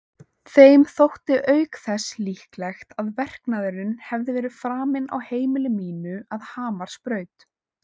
Þeim þótti auk þess líklegt að verknaðurinn hefði verið framinn á heimili mínu að Hamarsbraut.